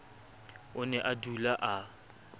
o ne a dula a